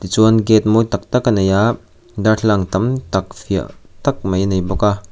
chuan gate mawi tak tak a nei a darthlalang tam tak fiah tak mai a nei bawk a.